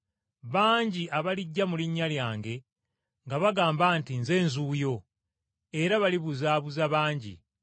Bangi abalijja mu linnya lyange nga bagamba nti, ‘Nze nzuuyo,’ era balibuzaabuza bangi.